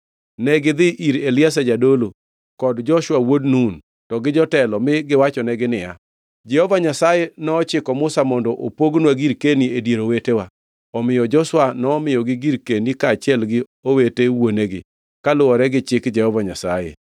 Negidhi ir Eliazar jadolo kod Joshua wuod Nun, to gi jotelo mi giwachonegi niya, “Jehova Nyasaye nochiko Musa mondo opognwa girkeni e dier owetewa.” Omiyo Joshua nomiyogi girkeni kaachiel gi owete wuonegi, kaluwore gi chik Jehova Nyasaye.